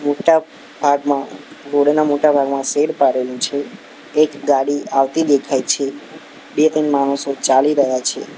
મોટા ભાગમાં રોડ ના મોટા ભાગમાં શેડ પાડેલુ છે એક ગાડી આવતી દેખાય છે બે-ત્રણ માણસો ચાલી રહ્યા છે.